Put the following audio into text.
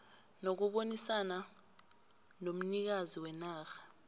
nokubonisana nomnikazi wenarha